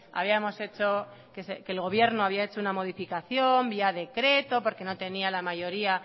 habíamos hecho que el gobierno había hecho una modificación vía decreto porque no tenía la mayoría